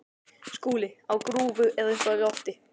SKÚLI: Á grúfu eða upp í loft?